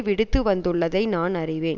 விடுத்துவந்துள்ளதை நான் அறிவேன்